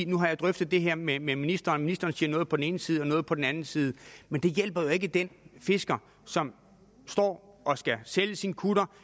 nu har drøftet det her med ministeren og ministeren siger noget på den ene side og noget på den anden side men det hjælper jo ikke den fisker som står og skal sælge sin kutter